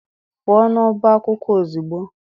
Pụo n'ọbá akwụkwọ ozugbo!